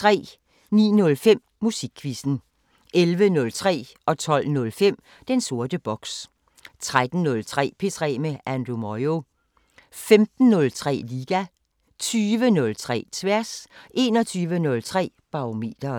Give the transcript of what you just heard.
09:05: Musikquizzen 11:03: Den sorte boks 12:05: Den sorte boks 13:03: P3 med Andrew Moyo 15:03: Liga 20:03: Tværs 21:03: Barometeret